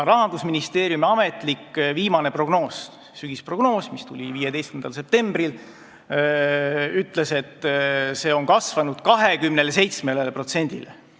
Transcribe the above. Rahandusministeeriumi viimane ametlik prognoos, sügisprognoos, mis tuli 15. septembril, ütles, et see on kasvanud 27%-le.